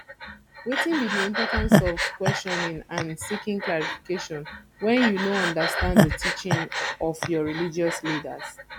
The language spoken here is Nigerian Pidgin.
wetin be di importance of questioning and seeking clarification when you no understand di teaching of your religious leaders